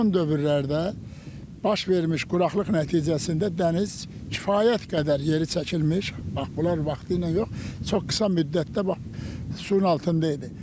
Son dövrlərdə baş vermiş quraqlıq nəticəsində dəniz kifayət qədər yeri çəkilmiş, bax bunlar vaxtilə yox, çox qısa müddətdə bax suyun altında idi.